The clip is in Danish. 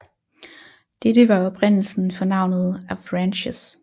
Dette var oprindelsen for navnet Avranches